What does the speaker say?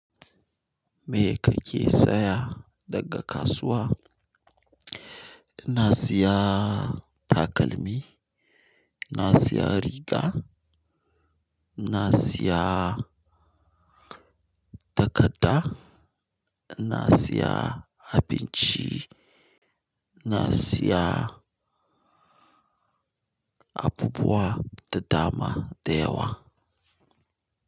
Me kake saya daga kasuwa? Na siya takalmi, na siya riga, na siya takadda, na siya abinci, na siya abubuwa da dama da yawa.